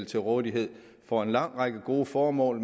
til rådighed for en lang række gode formål